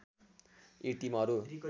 यी टिमहरू